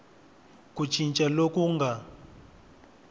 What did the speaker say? ku cinca loku ku nga